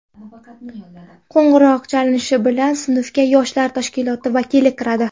Qo‘ng‘iroq chalinishi bilan sinfga yoshlar tashkiloti vakili kiradi.